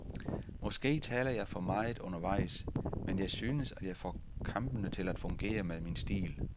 Måske taler jeg for meget undervejs, men jeg synes, at jeg får kampene til at fungere med min stil.